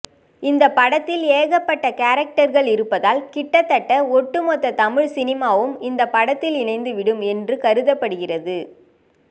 இந்த படத்தில் ஏகப்பட்ட கேரக்டர்கள் இருப்பதால் கிட்டத்தட்ட ஒட்டுமொத்த தமிழ் சினிமாவும் இந்த படத்தில் இணைந்து விடும் என்று கருதப்படுகிறது